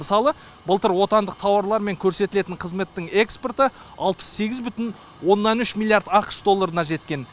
мысалы былтыр отандық тауарлар мен көрсетілетін қызметтің экспорты алпыс сегіз бүтін оннан үш миллард ақш долларына жеткен